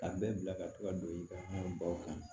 Ka bɛɛ bila ka to ka don i ka baw kan